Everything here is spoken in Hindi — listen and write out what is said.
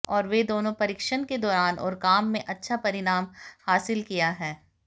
और वे दोनों प्रशिक्षण के दौरान और काम में अच्छा परिणाम हासिल किया है